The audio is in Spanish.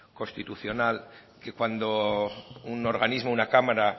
constitucional que cuando un organismo o una cámara